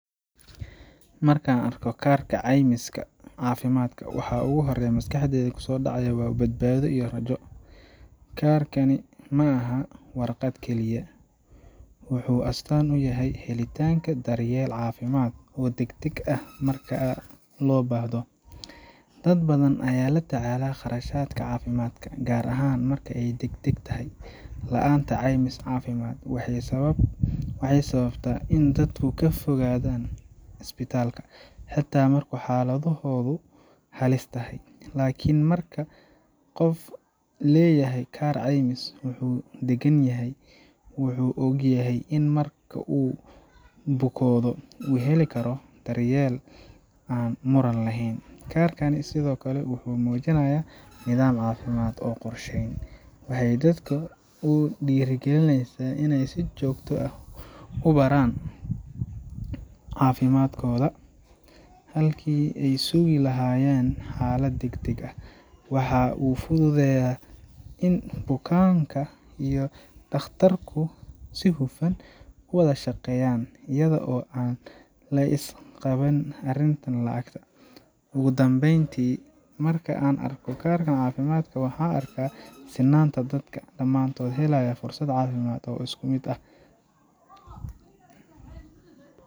Markaan arko kaarka caymiska caafimaadka, waxa ugu horreeya ee maskaxdayda ku soo dhaca waa badbaado iyo rajo. Kaarkani ma aha warqad keliya wuxuu astaan u yahay helitaanka daryeel caafimaad oo degdeg ah marka loo baahdo. Dad badan ayaa la tacaala kharashaadka caafimaadka, gaar ahaan marka ay degdeg tahay. La’aanta caymis caafimaad waxay sababtaa in dadku ka fogaadaan isbitaallada, xataa marka xaaladdoodu halis tahay. Laakiin marka qof leeyahay kaar caymis, wuu degan yahay; wuu ogyahay in marka uu bukoodo uu heli karo daryeel aan muran lahayn. Kaarkani sidoo kale wuxuu muujinayaa nidaam caafimaad oo qorsheysan. Waxay dadka ku dhiirrigelisaa in ay si joogto ah u baaraan caafimaadkooda, halkii ay sugi lahaayeen xaalad degdeg ah. Waxa uu fududeeyaa in bukaanka iyo dhakhtarku si hufan u wada shaqeeyaan, iyada oo aan la is qabin arrimaha lacagta. Ugu dambeyntii, markaan arko kaarka caafimaadka, waxaan arkaa sinnaantadadka oo dhamaantood helaya fursad caafimaad oo isku mid ah